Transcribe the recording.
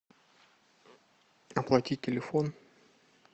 оплатить телефон